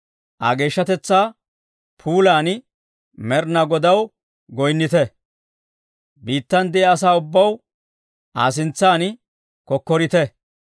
Aa geeshshatetsaa puulan Med'inaa Godaw goyinnite; biittan de'iyaa asaa ubbaw, Aa sintsan kokkorite.